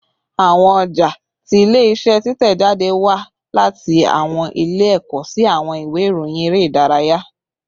Awọn ọja ti ile-iṣẹ titẹjade wa lati awọn iwe ẹkọ si awọn iwe irohin ere idaraya